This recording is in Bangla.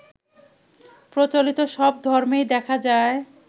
প্রচলিত সব ধর্মেই দেখা যায়